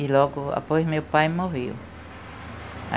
E logo após, meu pai morreu.